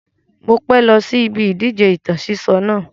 Mo pẹ́ lọ sí ibi ìdíje ìtàn sísọ náà